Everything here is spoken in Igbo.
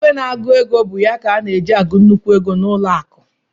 ìgwè na - agụ égo bụ ya ka eji agụ nnukwu égo na ụlọ akụ